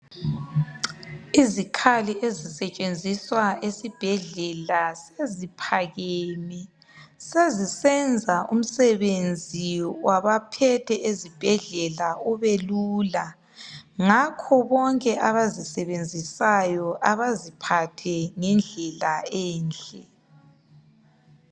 Izikhali ezisetshenziswa esibhedlela seziphakeme sezisenza umsebenzi wabaphethe ezibhedlela ubelula ngakho bonke abazisebenzisayo abaziphathe ngendlela enhle.